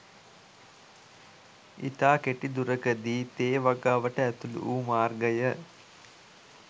ඉතා කෙටි දුරකදීම තේ වගාවකට ඇතුළු වූ මාර්ගය